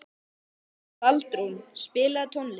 Baldrún, spilaðu tónlist.